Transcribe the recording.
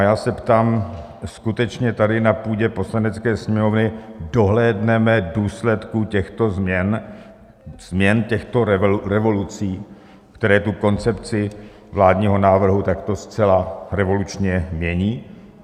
A já se ptám: skutečně tady na půdě Poslanecké sněmovny dohlédneme důsledků těchto změn, změn těchto revolucí, které tu koncepci vládního návrhu takto zcela revolučně mění?